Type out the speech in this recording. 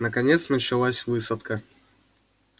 наконец началась высадка